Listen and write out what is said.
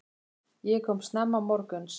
Ég kom snemma morguns.